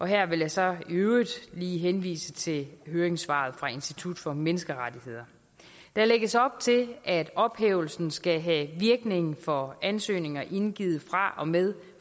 her vil jeg så i øvrigt lige henvise til høringssvaret fra institut for menneskerettigheder der lægges op til at ophævelsen skal have virkning for ansøgninger indgivet fra og med